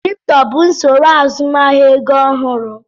Kripto bụ usoro azụmahịa ego ọhụrụ.